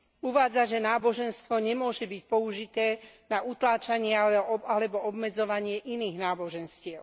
Uvádza, že náboženstvo nemôže byť použité na utláčanie alebo obmedzovanie iných náboženstiev.